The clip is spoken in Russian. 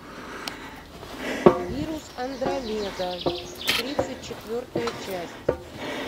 вирус андромеда тридцать четвертая часть